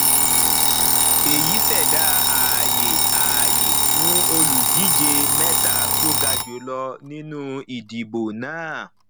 èyí ṣẹdá ààyè ààyè fún olùdíje mẹta tó ga jùlọ nínú ìdìbò náà